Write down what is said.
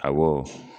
Awɔ